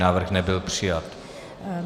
Návrh nebyl přijat.